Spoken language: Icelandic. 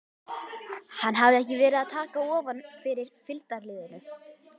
Hann hafði ekki verið að taka ofan fyrir fylgdarliðinu.